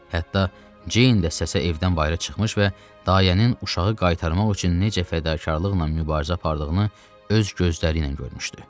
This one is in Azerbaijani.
Hətta Ceyn də səsi evdən bayıra çıxmış və dayənin uşağı qaytarmaq üçün necə fədakarlıqla mübarizə apardığını öz gözləri ilə görmüşdü.